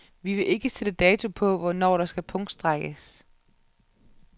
Vi vil ikke sætte dato på, hvornår der skal punktstrejkes.